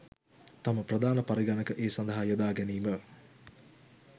තම ප්‍රධාන පරිගණක ඒ සදහා යොදා ගැනීම